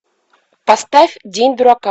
поставь день дурака